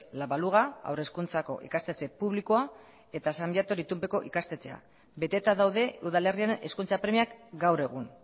la baluga haur hezkuntzako ikastetxe publikoa eta san viator itunpeko ikastetxea beteta daude udalerrian hezkuntza premiak gaur egun